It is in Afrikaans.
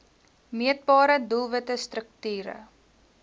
meetbare doelwitte strukture